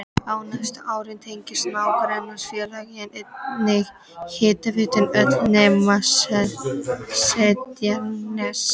Á næstu árum tengdust nágrannasveitarfélögin einnig hitaveitunni öll nema Seltjarnarnes.